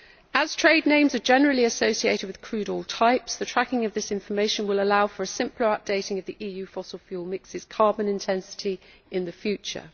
As trade names are generally associated with crude oil types, the tracking of this information will allow for a simpler updating of the EU fossil fuel mix's carbon intensity in the future.